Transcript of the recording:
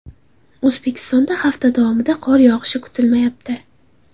O‘zbekistonda hafta davomida qor yog‘ishi kutilmayapti.